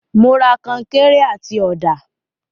Mo ra końkéré àti ọ̀dà.